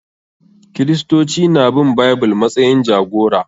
Kiristoci na bin Bible matsayin jagora